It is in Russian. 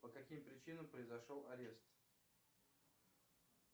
по каким причинам произошел арест